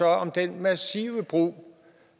om den massive brug